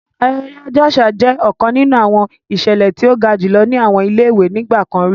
Ayẹyẹ ọjọ aṣa jẹ ọkan ninu awọn iṣẹlẹ ti o ga julọ ni awọn ile-iwe nigbakan ri.